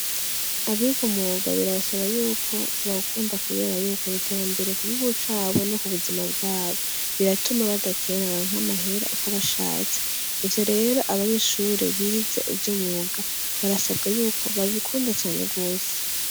Abiga umwuga birabasaba yuko bawukunda kubera yuko ari iterambere ku gihugu cabo no ku buzima bwabo, biratuma badakena baronke amahera uko bashatse. Ivyo rero abanyeshure bize ivy'umwuga barasabwa yuko babikunda cane gose